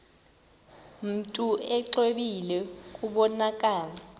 mntu exwebile kubonakala